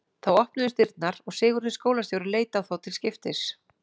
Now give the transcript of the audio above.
Þá opnuðust dyrnar og Sigurður skólastjóri leit á þá til skiptis.